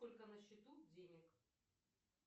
сколько на счету денег